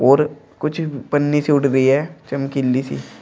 और कुछ पन्नी सी उट भी है चमकीली सी।